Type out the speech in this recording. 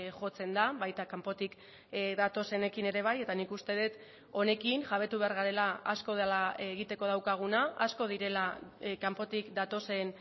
jotzen da baita kanpotik datozenekin ere bai eta nik uste dut honekin jabetu behar garela asko dela egiteko daukaguna asko direla kanpotik datozen